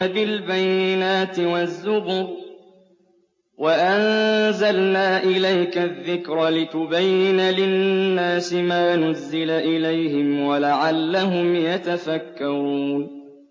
بِالْبَيِّنَاتِ وَالزُّبُرِ ۗ وَأَنزَلْنَا إِلَيْكَ الذِّكْرَ لِتُبَيِّنَ لِلنَّاسِ مَا نُزِّلَ إِلَيْهِمْ وَلَعَلَّهُمْ يَتَفَكَّرُونَ